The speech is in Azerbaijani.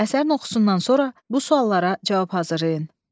Əsərin oxusundan sonra bu suallara cavab hazırlayın.